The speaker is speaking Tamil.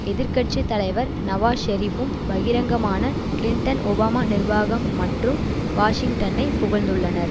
எதிர் கட்சி தலைவர் நவாஸ் ஷெரிப்பும் பகிரங்கமான கிளின்டன் ஒபாமா நிர்வாகம் மற்றும் வாஷிங்டனை புகழ்ந்துள்ளனர்